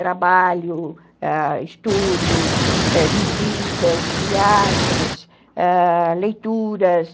trabalho, ãh, estudos, visitas, viagens, ãh, leituras.